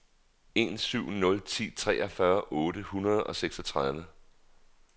en syv nul ni treogfyrre otte hundrede og seksogtredive